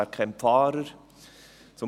Wer kennt die Fahrer?